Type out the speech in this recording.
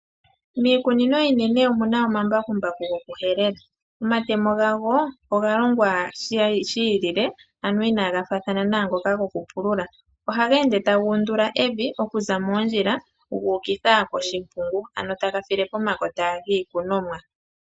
Miikunino iinene omuna omambakumbaku goku helela. Omatemo gawo oga longwa shi ilile, ano inaga faathana naangoka gokupulula. Ohaga ende taga undula evi okuza moondjila, gu ukitha koshimpungu, ano taga file pomakota giikunomwa.